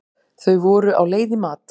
Þau voru á leið í mat.